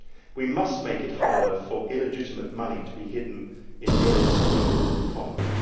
We must make it harder for illegitimate money to be hidden in Europe's legal economy.